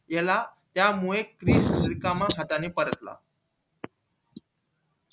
याला त्या मुले रिकामी हातानी परतला